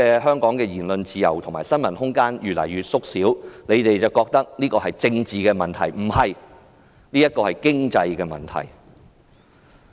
香港言論自由和新聞自由空間的已越縮越小，建制派認為是政治問題，不，這是經濟問題。